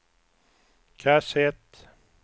kassett